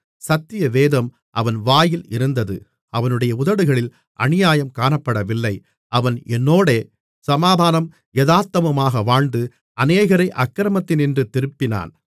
சத்தியவேதம் அவன் வாயில் இருந்தது அவனுடைய உதடுகளில் அநியாயம் காணப்படவில்லை அவன் என்னோடே சமாதானமும் யதார்த்தமுமாக வாழ்ந்து அநேகரை அக்கிரமத்தினின்று திருப்பினான்